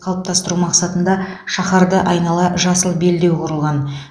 қалыптастыру мақсатында шаһарды айнала жасыл белдеу құрылған